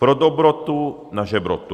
Pro dobrotu na žebrotu.